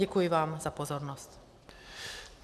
Děkuji vám za pozornost.